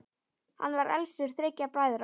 Hann var elstur þriggja bræðra.